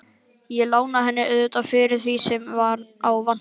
Ég lána henni auðvitað fyrir því sem upp á vantar.